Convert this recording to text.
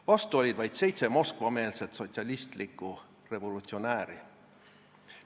Vastu oli vaid seitse Moskva-meelset sotsialistlikku revolutsionääri.